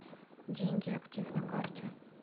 деньгиактив на карте